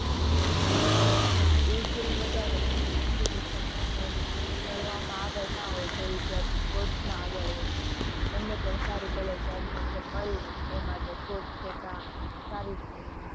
હા એ filed વધારે સારી education માં અને ભણવા માં આગળ ના હોય એ વિધાર્થી sports માં આગળ હોય એમને પણ સારી એવી college માં admission મળી રેહે એ માટે sports કોટા સારું જ કેવાય.